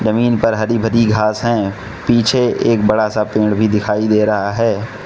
जमीन पर हरी भरी घास हैं पीछे एक बड़ा सा पेड़ भी दिखाई दे रहा है।